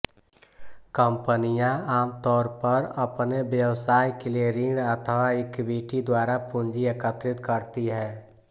कंपनियां आमतौर पर अपने व्यवसाय के लिए ऋण अथवा इक्विटी द्वारा पूंजी एकत्रित करती हैं